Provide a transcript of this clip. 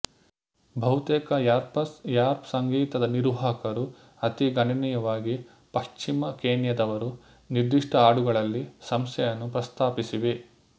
ಬಹುತೇಕ rappers rap ಸಂಗೀತದ ನಿರ್ವಹಕರು ಅತೀ ಗಣನೀಯವಾಗಿ ಪಶ್ಚಿಮ ಕೆನ್ಯಾದವರು ನಿರ್ದಿಷ್ಟ ಹಾಡುಗಳಲ್ಲಿ ಸಂಸ್ಥೆಯನ್ನು ಪ್ರಸ್ತಾಪಿಸಿವೆ